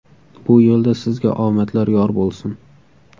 Bu yo‘lda Sizga omadlar yor bo‘lsin!